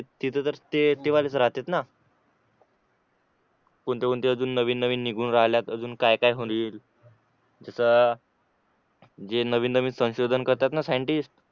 तिथे तर ते ते वालेच राहतेत ना कोणते कोणते अजून नवीन नवीन निघून राहिल्या अजून काय काय होईल जे नवीन नवीन संशोधन करताना सायंटिस्ट